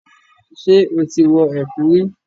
Ṣé o ti wọ ẹ̀kú rí?